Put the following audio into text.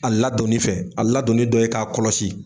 A ladonni fɛ a ladonni dɔ ye k'a kɔlɔsi